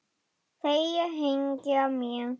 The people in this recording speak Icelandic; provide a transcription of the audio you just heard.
Þeir hengja mig?